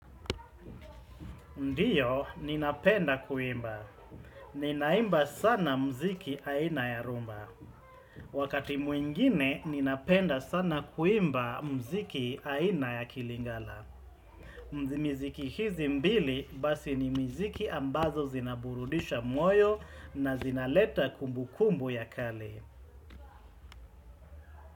Ndio, ninapenda kuimba. Ninaimba sana mziki aina ya rumba. Wakati mwingine, ninapenda sana kuimba mziki aina ya kilingala. Mzimiziki hizi mbili basi ni mziki ambazo zinaburudisha mwoyo na zinaleta kumbu kumbu ya kale.